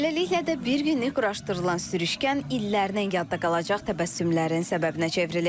Beləliklə də bir günlük quraşdırılan sürüşkən illərdən yadda qalacaq təbəssümlərin səbəbinə çevrilib.